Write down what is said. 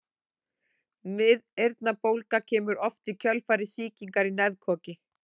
Miðeyrnabólga kemur oft í kjölfar sýkingar í nefkoki.